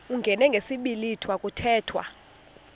uyingene ngesiblwitha kuthethwa